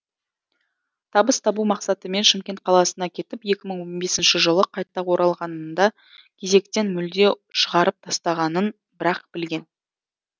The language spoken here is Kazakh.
табыс табу мақсатымен шымкент қаласына кетіп екі мың он бесінші жылы қайта оралғанында кезектен мүлде шығарып тастағанын бір ақ білген